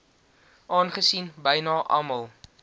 aangesien byna almal